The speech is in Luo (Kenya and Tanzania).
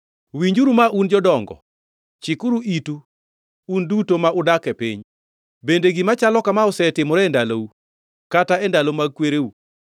Winjuru ma, un jodongo; chikuru itu, un duto ma udak e piny. Bende gima chalo kama osetimore e ndalou, kata e ndalo mag kwereu?